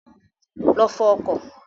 Lọ fọ ọkọ̀.